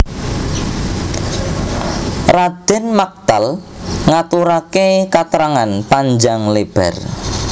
Radèn Maktal ngaturaké katrangan panjang lébar